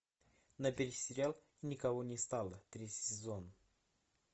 набери сериал никого не стало третий сезон